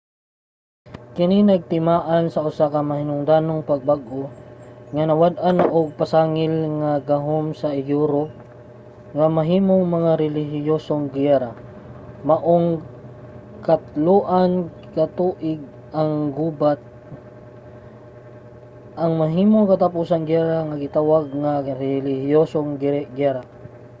kini nagtimaan sa usa ka mahinungdanong pagbag-o nga nawad-an na og pasangil ang gahom sa europe nga mahimong mga relihiyosong giyera. maong ang katloan ka tuig nga gubat ang mahimong katapusang giyera nga gitawag nga relihiyosong giyera